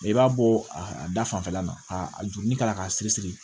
i b'a bɔ a da fanfɛla la ka a juruni kala k'a siri siri